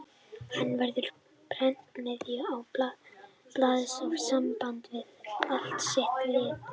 Hann verður án prentsmiðju, án blaðs og sambandslaus við allt sitt lið.